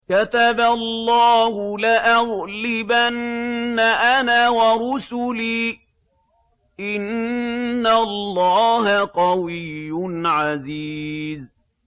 كَتَبَ اللَّهُ لَأَغْلِبَنَّ أَنَا وَرُسُلِي ۚ إِنَّ اللَّهَ قَوِيٌّ عَزِيزٌ